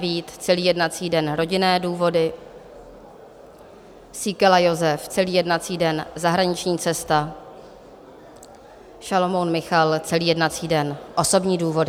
Vít celý jednací den - rodinné důvody, Síkela Jozef celý jednací den - zahraniční cesta, Šalomoun Michal celý jednací den - osobní důvody.